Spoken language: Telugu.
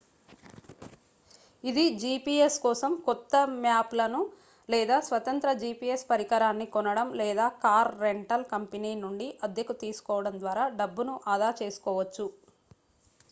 ఇది gps కోసం కొత్త మ్యాప్లను లేదా స్వతంత్ర gps పరికరాన్ని కొనడం లేదా కార్ రెంటల్ కంపెనీ నుండి అద్దెకు తీసుకోవడం ద్వారా డబ్బును ఆదా చేసుకోవచ్చు